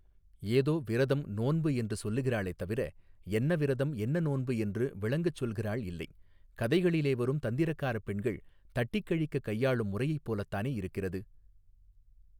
ஏதோ விரதம் நோன்பு என்று சொல்லுகிறாளே தவிர என்ன விரதம் என்ன நோன்பு என்று விளங்கச் சொல்கிறாள் இல்லை கதைகளிலே வரும் தந்திரக்காரப் பெண்கள் தட்டிக் கழிக்கக் கையாளும் முறையைப் போலத்தானே இருக்கிறது.